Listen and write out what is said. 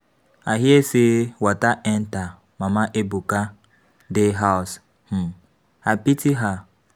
I hear say water enter mama Ebuka de house um. I pity her.